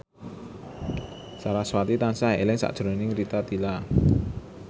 sarasvati tansah eling sakjroning Rita Tila